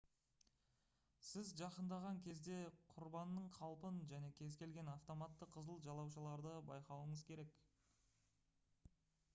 сіз жақындаған кезде құрбанның қалпын және кез келген автоматты «қызыл жалаушаларды» байқауыңыз керек